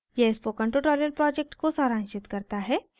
यह spoken tutorial project को सारांशित करता है